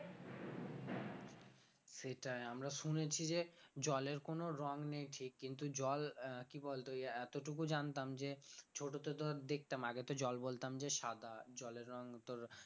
সেটাই আমরা শুনেছি যে জলের কোন রং নেই ঠিক কিন্তু জল আহ কি বলতো এই এতোটুকু জানতাম যে ছোট তো তোর দেখতাম আগে তো জল বলতাম যে সাদা জলের রং তোর